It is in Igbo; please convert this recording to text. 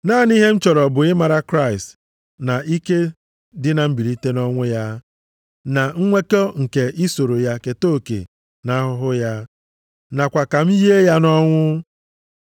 Naanị ihe m chọrọ bụ ịmara Kraịst na ike dị na mbilite nʼọnwụ ya, na nnwekọ nke isoro ya keta oke nʼahụhụ ya, nakwa ka m yie ya nʼọnwụ.